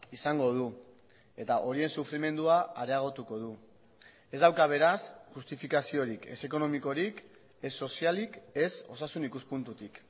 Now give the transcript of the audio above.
izango du eta horien sufrimendua areagotuko du ez dauka beraz justifikaziorik ez ekonomikorik ez sozialik ez osasun ikuspuntutik